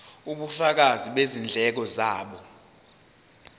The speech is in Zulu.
ubufakazi bezindleko zabo